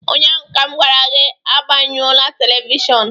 Ụnyaahụ m gwara gị, gbanyụọ telivishọn